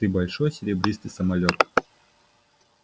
ты большой серебристый самолёт